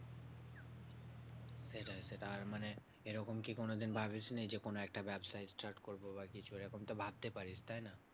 সেটাই আর মানে এরকম কি কোনোদিন ভাবিসনি? যে কোনো একটা ব্যাবসা start করবো বা কিছু। এরকম তো ভাবতে পারিস, তাই না?